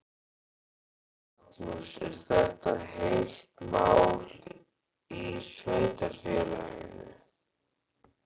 Magnús: Er þetta heitt mál í sveitarfélaginu?